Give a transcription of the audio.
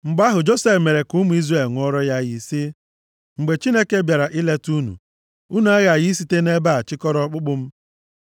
Mgbe ahụ, Josef mere ka ụmụ Izrel ṅụọrọ ya iyi sị, “Mgbe Chineke bịara ileta unu, unu aghaghị ị site nʼebe a chịkọrọ ọkpụkpụ m.”